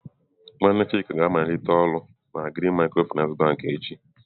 Nwanne Chika ga-amaliteghachi ọrụ na Green micro-finance bank echi.